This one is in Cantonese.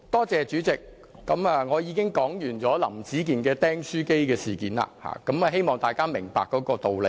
主席，我已經說完"林子健釘書機事件"，希望大家明白這個道理。